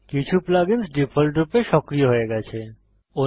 কিছু plug ins ডিফল্টরূপে সক্রিয় হয়ে গেছে